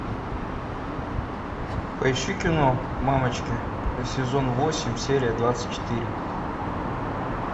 поищи кино мамочки сезон восемь серия двадцать четыре